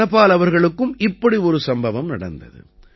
தனபால் அவர்களுக்கும் இப்படி ஒரு சம்பவம் நடந்தது